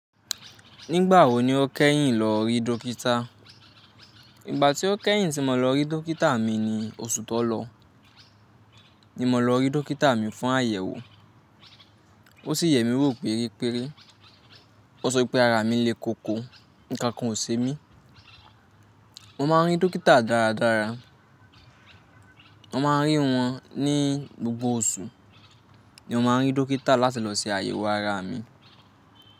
Nígbà wo ni o kẹ́yìn lọ rí dókítà? Ìgbà tí ó kẹ́yìn tí mo lọ rí dókítà mi ni oṣù tó lọ, ni mo lọ rí dókítà mi fún àyẹ̀wò. O sì yẹmi wò pérepére. O sọ wípé ara mi lé koko, ǹkan kan ò ṣe mí. Mo máa ń rí dókítà dáradára. Mo máa ń rí wọn ní gbogbo oṣù. Ni mo máa ń rí dókítà láti lọ se àyẹ̀wò ara mi.